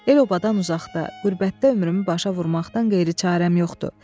El obadan uzaqda, qürbətdə ömrümü başa vurmaqdan qeyri çarəm yoxdur.